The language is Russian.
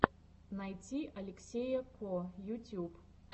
найти алексея ко ютуб